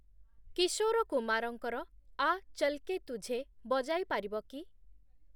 କିଶୋର କୁମାରଙ୍କର 'ଆ ଚଲ୍‌ କେ ତୁଝେ' ବଜାଇପାରିବ କି?